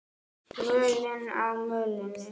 Völin á mölinni